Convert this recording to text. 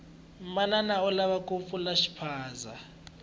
manana u lava ku pfula xiphaza